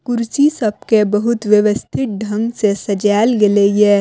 कुर्सी सब के बहुत व्यवस्थित ढंग से सज़ाएल गेलइ हे।